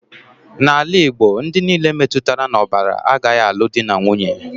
N'ala Igbo, ndị nile metụtara n'ọbara agaghị alụ dị na nwunye